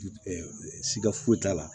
siiga foyi t'a la